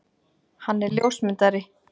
Hann er ljósmyndari.